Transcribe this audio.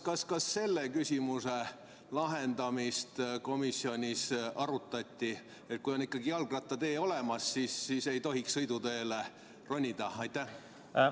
Kas selle küsimuse lahendamist, et kui on ikkagi jalgrattatee olemas, siis ei tohiks sõiduteele ronida, komisjonis arutati?